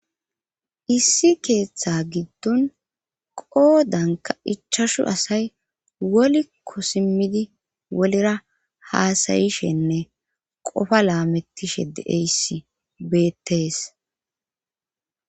issi keeththa giddon qoodanka ichashu asay wolikko simmidi wolera haasayishenne qofa laamettishe deeysi beettees